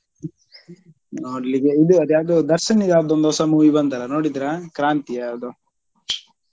ನೋಡ್ಲಿಕ್ಕೆ ಇದು ಅದು ಯಾವ್ದೋ ದರ್ಶನ್ ದು ಯಾವ್ದೋನ್ದೊ ಹೊಸ movie ಬಂತಲ್ಲ ನೋಡಿದ್ರಾ ಕ್ರಾಂತಿ ಯಾವ್ದೋ?